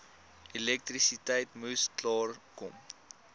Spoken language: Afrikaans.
elektrisiteit moes klaarkom